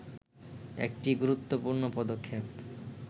একটি গুরুত্বপূর্ণ পদক্ষেপ